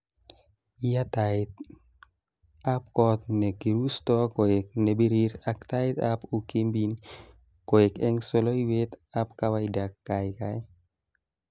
Yaa taitab kot ne kirusto koe nebirir ak taitab ukymbin koe eng soloiwet ab kawaida kaikai